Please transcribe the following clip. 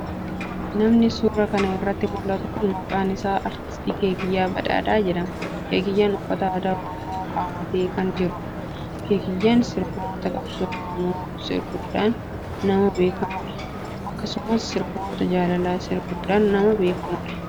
Namni suura kan irratti mul'atu kun maqaan isaa Artist Keekiyyaa Badhaadha jedhama. Keekiyyaan uffata aadaa Oromoo kaawwatee kan jirudha. Keekiyyaan sirboota qabsoo Oromoo sirbuudhaan nama beekkamudha. Akkasumas sirboota jaalalaa sirbuudhan nama beekkamudha.